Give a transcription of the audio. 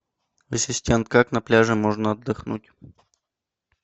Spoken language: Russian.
ассистент как на пляже можно отдохнуть